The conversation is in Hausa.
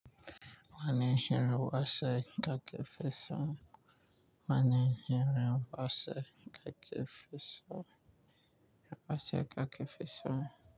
Wani irin wasa kake fi so. Wani irin wasa kake fa so. Wasa kake fi so.